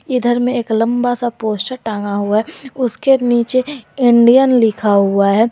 इधर में एक लंबा सा पोस्टर टंगा हुआ है उसके नीचे इंडियन लिखा हुआ है।